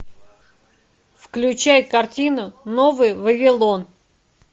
включай картину новый вавилон